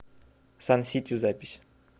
сан сити запись